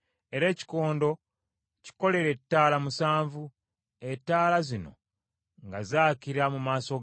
“Era ekikondo kikolere ettaala musanvu; ettaala zino nga zaakira mu maaso gaakyo.